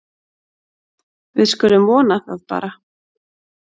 Við skulum vona það bara.